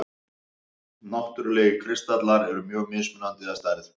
Náttúrlegir kristallar eru mjög mismunandi að stærð.